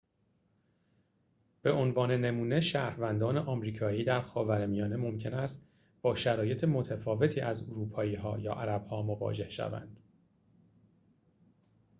به عنوان نمونه شهروندان آمریکایی در خاورمیانه ممکن است با شرایط متفاوتی از اروپایی‌ها یا عرب‌ها مواجه شوند